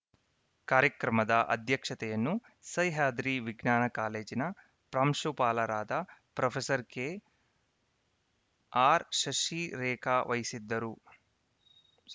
ಕಾರ್ಯಕ್ರಮದ ಅಧ್ಯಕ್ಷತೆಯನ್ನು ಸಹ್ಯಾದ್ರಿ ವಿಜ್ಞಾನ ಕಾಲೇಜಿನ ಪ್ರಾಂಶುಪಾಲರಾದ ಪ್ರೊಫೆಸರ್ ಕೆಆರ್‌ ಶಶಿರೇಖಾ ವಹಿಸಿದ್ದರು